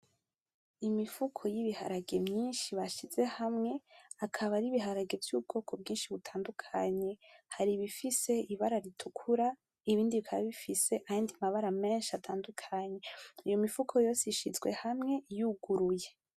imifuko y' ibiharage myinshi bashize hamwe. akaba ari biharage vy' ubwoko bwinshi butandukanye hari ibifise ibara ritukura ibindi bikaba bifise ayandi mabara menshi atandukanye iyo mifuko yose ishizwe hamwe yuguruye.